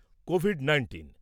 Covid nineteen